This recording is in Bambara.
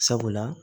Sabula